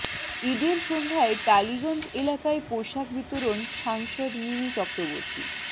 ঈদের সন্ধ্যায় টালিগঞ্জ এলাকায় পোশাক বিতরণ সাংসদ মিমি চক্রবর্তী